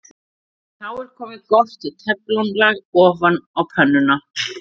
Þá er komið gott teflon-lag ofan á pönnuna.